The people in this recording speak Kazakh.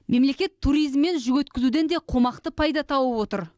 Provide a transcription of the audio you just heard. мемлекет туризм мен жүк өткізуден де қомақты пайда тауып отыр